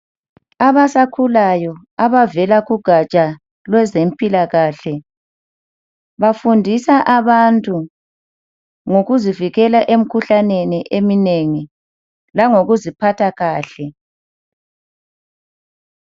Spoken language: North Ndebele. Abasakhulayo abavela kugaja lwezemphilakahle, bafundisa abantu ngokuzivikela emikhuhlaneni eminengi langoziphatha kahle.